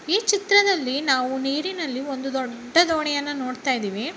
ಈ ಚಿತ್ರದಲ್ಲಿ ನಾವು ನೀರಿನಲ್ಲಿ ಒಂದು ದೊಡ್ಡ ದೋಣಿಯನ್ನು ನೋಡುತ್ತಾ ಇದ್ದೇವೆ.